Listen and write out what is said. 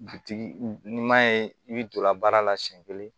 Bitigi n'i m'a ye i bɛ donla baara la siyɛn kelen